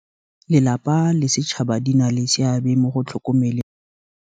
Lelapa le sechaba di na le seabe mo go tlhokomeleng.